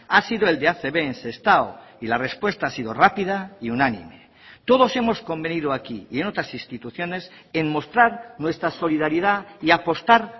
ha sido el de acb en sestao y la respuesta ha sido rápida y unánime todos hemos convenido aquí y en otras instituciones en mostrar nuestra solidaridad y apostar